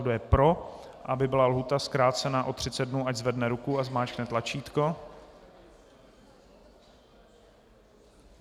Kdo je pro, aby byla lhůta zkrácena o 30 dnů, ať zvedne ruku a zmáčkne tlačítko.